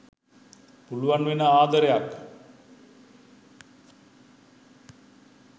පුළුවන් වෙන ආදරයක්